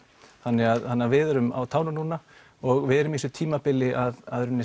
þannig að við erum á tánum núna og við erum á þessu tímabili að